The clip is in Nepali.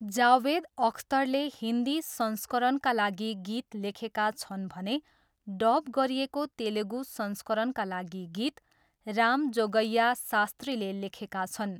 जावेद अख्तरले हिन्दी संस्करणका लागि गीत लेखेका छन् भने डब गरिएको तेलुगु संस्करणका लागि गीत रामजोगय्या शास्त्रीले लेखेका छन्।